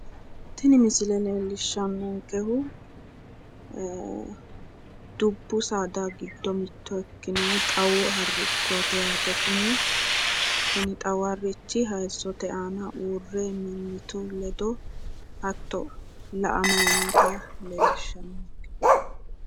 Tini misile leellishshannonkehu dubbu saada giddo mitto ikkinohu xawu harrichooti yaate kuni. Kuni xawu harrichi hayissote aana uurre mimmitu ledo hatto la"amayi noota leellishshanno.